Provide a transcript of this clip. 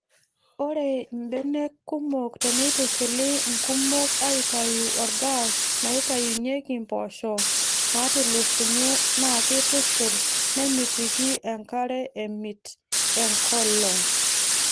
Ore mbenek kumok teneitushuli nkumok aaitayu orgaas naaitaunyeki mpoosho naatusulunye naa keitushurr nemitiki enkare emit enkolong.